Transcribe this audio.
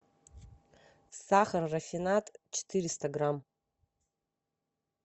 сахар рафинад четыреста грамм